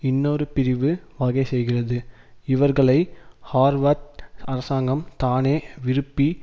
இன்னொரு பிரிவு வகைசெய்கிறது இவர்களை ஹார்வர்ட் அரசாங்கம் தானே விருப்பி